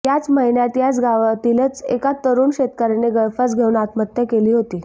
याच महिन्यात याच गावातीलच एका तरुण शेतकर्याने गळफास घेऊन आत्महत्या केली होती